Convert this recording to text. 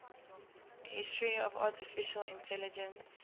history of artificial intelligence